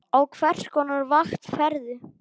Á hvers konar vakt ferðu?